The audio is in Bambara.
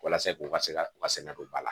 Walasa k'u ka se ka u ka sɛnɛ don ba la